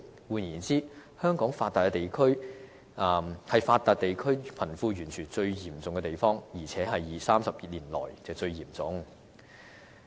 換言之，香港是發達地區貧富懸殊最嚴重的地方，而且是30年來最嚴重的。